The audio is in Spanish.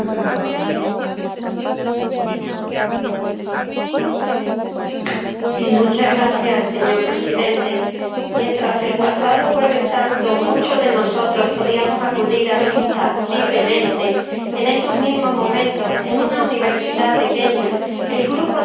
Señor Presidente, mientras el pasado Jueves Santo muchos de nosotros podíamos acudir a misa libremente, en esos mismos momentos, en una universidad de Kenia, el grupo terrorista Al Shabab seleccionaba a los estudiantes cristianos para asesinarlos.